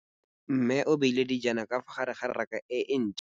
Mmê o beile dijana ka fa gare ga raka e ntšha.